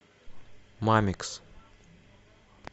мамикс